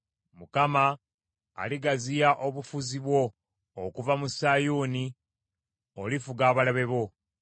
Mukama aligaziya obufuzi bwo okuva mu Sayuuni; olifuga abalabe bo.